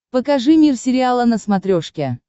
покажи мир сериала на смотрешке